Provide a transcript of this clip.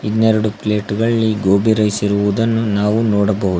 ಇನ್ನೆರಡು ಪ್ಲೇಟುದಲ್ಲಿ ಗೋಬಿ ರೈಸ್ ಇರುವುದನ್ನು ನಾವು ನೋಡಬಹುದ್--